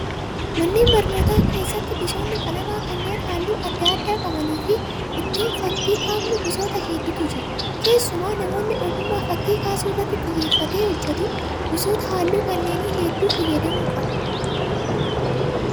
Manneen barnootaa hedduu keessatti gosoonni qalamaa kanneen halluu adda addaa qabanii fi ittiin fakkii kaafnu gosoota hedduutu jira. Keessumaa namni ogummaa fakkii kaasuu irratti xiyyeeffatee hojjatu gosoota halluu kanneenii hedduu fayyadamuu qaba